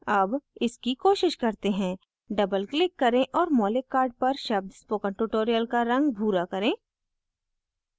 double इसकी कोशिश करते हैं double click करें और मौलिक card पर शब्द spoken tutorial का रंग भूरा करें